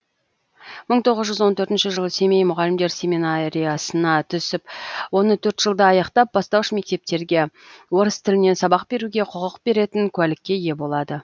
мың тоғыз жүз он төртінші жылы семей мұғалімдер семинариясына түсіп оны төрт жылда аяқтап бастауыш мектептерге орыс тілінен сабақ беруге құқық беретін куәлікке ие болады